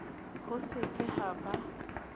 ho se ke ha ba